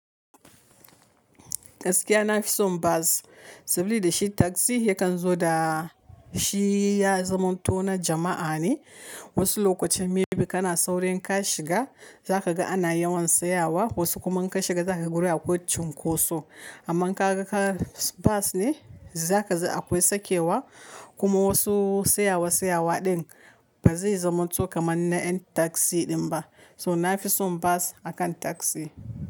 Gaskiya na fi son bus sabilida shi taxi yakan zo da shi ya zamo to na jama'a ne. Wasu lokuta maybe kana saurin ka shiga za ka ga ana yawan tsayawa wasu kuma in ka shiga za ka yi gurin akwai cun ko so. Amma inka ga ka bis ne za ka ji akwai sakewa kuma wasu sayawa sayawa din ba zai zamo to kaman na yan taxi din ba. So na fi son bas akan tasi.